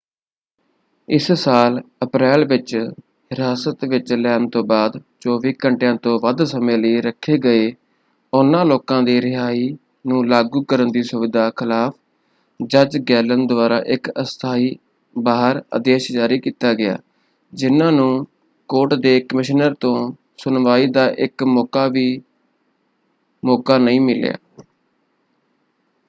ਇਸ ਸਾਲ ਅਪ੍ਰੈਲ ਵਿੱਚ ਹਿਰਾਸਤ ਵਿੱਚ ਲੈਣ ਤੋਂ ਬਾਅਦ 24 ਘੰਟਿਆਂ ਤੋਂ ਵੱਧ ਸਮੇਂ ਲਈ ਰੱਖੇ ਗਏ ਉਹਨਾਂ ਲੋਕਾਂ ਦੀ ਰਿਹਾਈ ਨੂੰ ਲਾਗੂ ਕਰਨ ਦੀ ਸੁਵਿਧਾ ਖ਼ਿਲਾਫ਼ ਜੱਜ ਗੈਲਿਨ ਦੁਆਰਾ ਇੱਕ ਅਸਥਾਈ ਬਹਾਰ ਆਦੇਸ਼ ਜਾਰੀ ਕੀਤਾ ਗਿਆ ਜਿਨ੍ਹਾਂ ਨੂੰ ਕੋਰਟ ਦੇ ਕਮਿਸ਼ਨਰ ਤੋਂ ਸੁਣਵਾਈ ਦਾ ਇੱਕ ਮੌਕਾ ਵੀ ਮੌਕਾ ਨਹੀਂ ਮਿਲਿਆ।